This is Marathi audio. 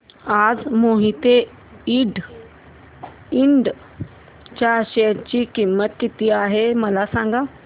आज मोहिते इंड च्या शेअर ची किंमत किती आहे मला सांगा